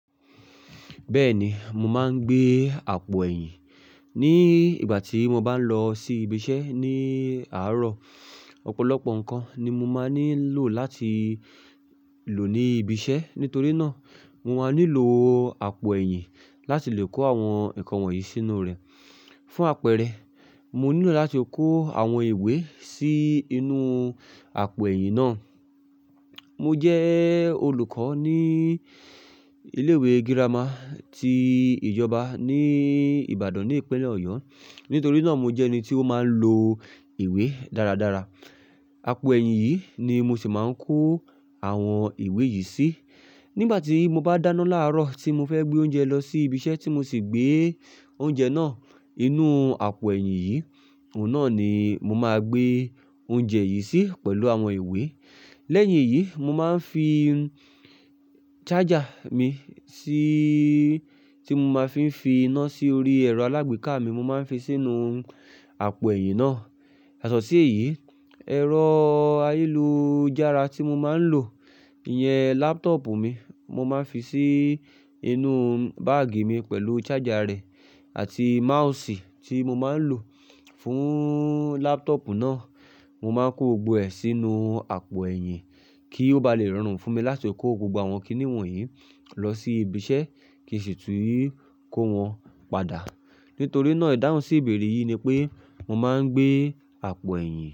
Bẹ́ẹ̀ni, mo máa ń gbé àpò ẹ̀yìn ní ìgbà tí mo bá ń lọ sí ibi iṣẹ́ ní àárọ̀. Ọ̀pọ̀lọpọ̀ nǹkan ni mo máa nílò láti lò ní ibi iṣẹ́. Nítorí náà, mo máa nílò àpò ẹ̀yìn láti lè kó àwọn nǹkan wọ̀nyí sínú rẹ̀. Fún àpẹẹrẹ, mo nílò láti kó àwọn ìwé sí inú àpò ẹ̀yìn náà. Mo jẹ́ olùkọ́ ní ilé ìwé girama ti ìjọba ní Ìbàdàn ní ìpínlẹ̀ Ọ̀yọ́. Nítorí náà, mo jẹ́ ẹni tí ó máa ń lo ìwé dáradára. Àpò ẹ̀yìn yìí ni mo sì máa ń kó àwọn ìwé yìí sí. Nígbà tí mo bá dáná láàárọ̀ tí mo fẹ́ gbé oúnjẹ lọ sí ibi iṣẹ́ tí mo sì gbé oúnjẹ náà inú àpò ẹ̀yìn yìí, òun náà ni mo máa gbé oúnjẹ yìí sí pẹ̀lú àwọn ìwé. Lẹ́yìn èyí, mo máa ń fi charger mi sí tí mo máa ń fi fi iná sí orí ẹ̀rọ alágbèéká mi. Mo máa ń fi sínú àpò ẹ̀yìn náà. Yato siì èyí, ẹ̀rọ ayélujára tí mo máa ń lò, ìyẹn laptop mi, mo máa n fi sí inú báàgì mi pẹ̀lú charger rẹ̀ àti mouse tí mo máa ń lò fún laptop náà. Mo máa kó gbogbo ẹ̀ sínú àpò ẹ̀yìn kí ó ba lè rọrùn fún mi láti kó gbogbo àwọn kìnì won yìí lọ sí ibi iṣẹ́ kí sì tún kó wọn padà. Nítorí náà, ìdáhùn sí ìbéèrè yìí ni pé mo máa ń gbé àpò ẹ̀yìn.